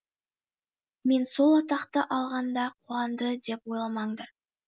мен сол атақты алғанда қуанды деп ойламаңдар